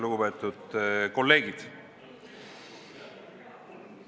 Lugupeetud kolleegid!